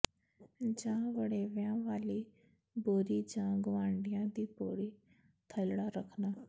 ਜਾਂ ਵੜੇਵਿਆਂ ਵਾਲੀ ਬੋਰੀ ਜਾਂ ਗਵਾਂਢੀਆਂ ਦੀ ਪੌੜੀ ਥਲੜਾ ਰਖਨਾ